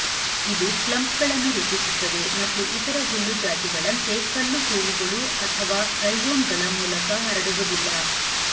ಇದು ಕ್ಲಂಪ್ಗಳನ್ನು ರೂಪಿಸುತ್ತದೆ ಮತ್ತು ಇತರ ಹುಲ್ಲು ಜಾತಿಗಳಂತೆ ಕಲ್ಲುಹೂವುಗಳು ಅಥವಾ ರೈಜೋಮ್ಗಳ ಮೂಲಕ ಹರಡುವುದಿಲ್ಲ